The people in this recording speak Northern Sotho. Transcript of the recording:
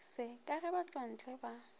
se ka ge batšwantle ba